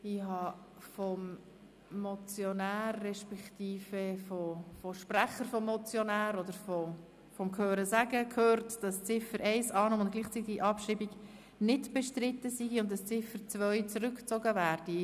Ich habe vom Motionär beziehungsweise von Sprechern gehört, die Annahme von Ziffer 1 mit gleichzeitiger Abschreibung sei nicht bestritten und die Ziffer 2 zurückgezogen werde.